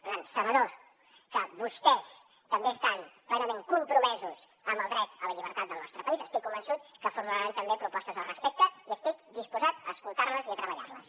per tant sabedors que vostès també estan plenament compromesos amb el dret a la llibertat del nostre país estic convençut que formularan també propostes al respecte i estic disposat a escoltar les i a treballar les